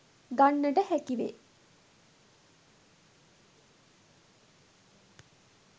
ගන්නට හැකි වේ.